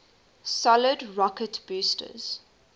solid rocket boosters